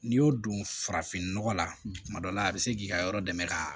N'i y'o don farafin nɔgɔ la kuma dɔ la a bɛ se k'i ka yɔrɔ dɛmɛ ka